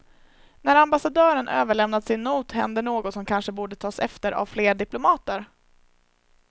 När ambassadören överlämnat sin not händer något som kanske borde tas efter av fler diplomater.